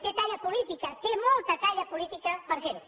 té talla política té molta talla política per fer ho